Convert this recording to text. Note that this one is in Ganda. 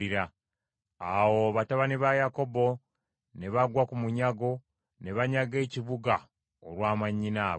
Awo batabani ba Yakobo ne bagwa ku munyago ne banyaga ekibuga olwa mwannyinaabwe.